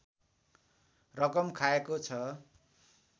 रकम खाएको छ